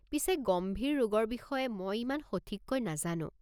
পিছে গম্ভীৰ ৰোগৰ বিষয়ে মই ইমান সঠিককৈ নাজানো।